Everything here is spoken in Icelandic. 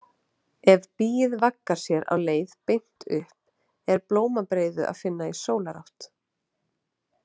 Ef býið vaggar sér á leið beint upp er blómabreiðu að finna í sólarátt.